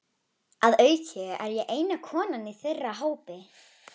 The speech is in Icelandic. Að auki er ég eina konan í þeirra hópi.